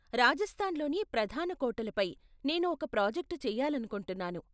రాజస్థాన్లోని ప్రధాన కోటలపై నేను ఒక ప్రాజెక్ట్ చేయాలనుకుంటున్నాను.